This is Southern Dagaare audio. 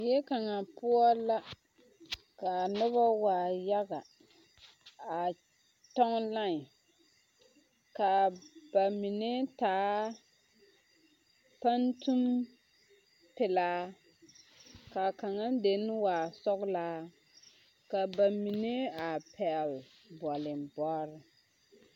Zie kaŋa poɔ la ka noba waa yaga a kyɔŋ line ka ba mine taa pantuŋ pelaa ka a kaŋa dene waa sɔglaa ka a ba mine a pɛgle bɔleŋbɔre.